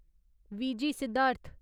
V G Siddharth